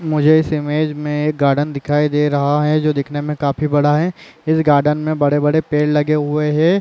मुझे इस इमेज मे एक गार्डन दिखई दे रहा है जो दिखने मे काफी बड़ा है इस गार्डन मे बड़े-बड़े पेड़ लगे हुए है।